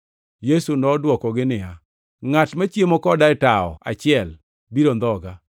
Yesu nodwokogi niya, “Ngʼat machiemo koda e tawo achiel biro ndhoga.